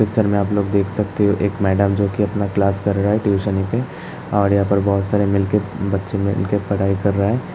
Picture में आप लोग देख सकते है। एक मैडम जोकि अपनी क्लास करा रही हैं ट्यूशन की और यहाँ पर बहोत सारे मिल के बच्चे मिलकर पढ़ाई कर रहे हैं।